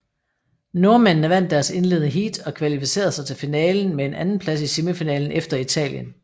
Nordmændene vandt deres indledende heat og kvalificerede sig til finalen med en andenplads i semifinalen efter Italien